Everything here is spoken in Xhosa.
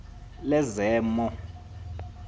lezemo